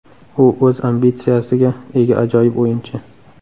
U o‘z ambitsiyasiga ega ajoyib o‘yinchi.